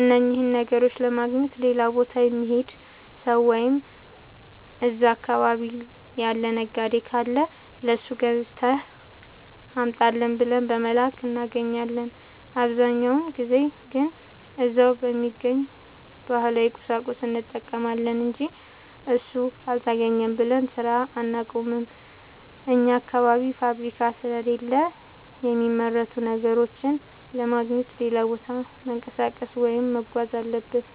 እነኝህን ነገሮች ለማግኘት ሌላ ቦታ የሚሄድ ሠው ወይም እዛ አካባቢ ያለ ነጋዴ ካለ ለሱ ገዝተህ አምጣልኝ ብለን በመላክ እናገኛለን። አብዛኛውን ጊዜ ግን እዛው በሚገኝ ባህላዊ ቁሳቁስ እንጠቀማለን አንጂ እሱ አልተገኘም ብለን ስራ አናቆምም። አኛ አካባቢ ፋብሪካ ስለሌለ የሚመረቱ ነገሮችን ለማግኘት ሌላ ቦታ መንቀሳቀስ ወይም መጓዝ አለብን።